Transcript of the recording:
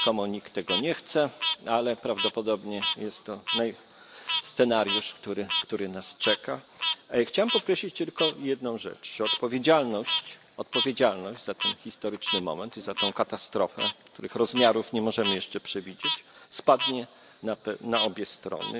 Rzekomo nikt tego nie chce, ale prawdopodobnie jest to scenariusz, który nas czeka. Chciałem podkreślić tylko jedną rzecz odpowiedzialność, odpowiedzialność za ten historyczny moment i za tę katastrofę, której rozmiarów nie możemy jeszcze przewidzieć, spadnie na obie strony.